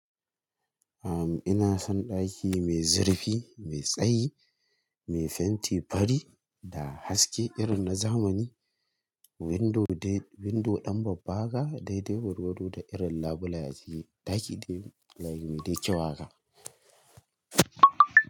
Am ina son ɗaki mai zirfi, mai tsayi, mai fenti fari da haske irin na zamani. Window dai window ɗan babba haka daidai gwargwado da irin labule a ciki. Ɗaki dai yayi mai dai kyau wa ka.